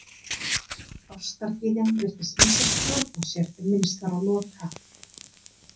Ástargyðjan virtist missa stjórn á sér ef minnst var á Loka.